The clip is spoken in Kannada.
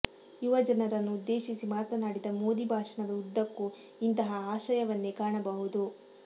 ಯುವ ಜನರನ್ನು ಉದ್ದೇಶಿಸಿ ಮಾತನಾಡಿದ ಮೋದಿ ಭಾಷಣದ ಉದ್ದಕ್ಕೂ ಇಂತಹ ಆಶಯವನ್ನೇ ಕಾಣಬಹುದು